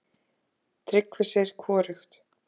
Tryggvi segir hvorugt.